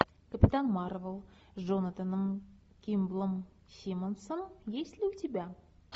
капитан марвел с джонатаном кимблом симмонсом есть ли у тебя